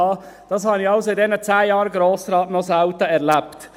Das habe ich also in diesen zehn Jahren als Grossrat noch selten erlebt.